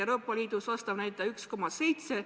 Euroopa Liidus on vastav näitaja 1,7%.